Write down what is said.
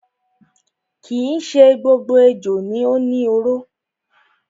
Kii ṣe gbogbo ejò ni ó ni oró.